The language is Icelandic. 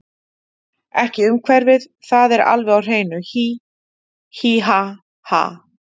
Ekki umhverfið það er alveg á hreinu, hí, hí ha, ha.